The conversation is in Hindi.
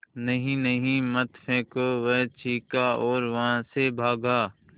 नहीं नहीं मत फेंको वह चीखा और वहाँ से भागा